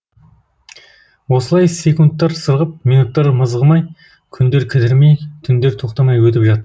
осылай секунттар сырғып минуттар мызғымай күндер кідірмей түндер тоқтамай өтіп жатты